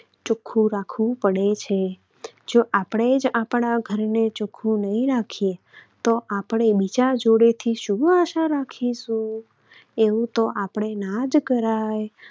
ચોખ્ખું રાખવું પડે છે. જો આપણે જ આપણા ઘરને ચોખ્ખું નહિ રાખીએ તો આપણે બીજા જોડેથી શું આશા રાખીશું? એવું તો આપણે ના જ કરાય.